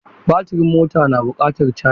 Baturin motar na buƙatar caji.